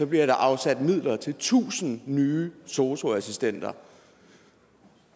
bliver der afsat midler til tusind nye sosu assistenter